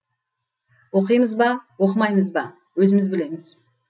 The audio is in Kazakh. оқимыз ба оқымаймыз ба өзіміз білеміз